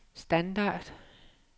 standard